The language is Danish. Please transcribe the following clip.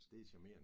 Det charmerende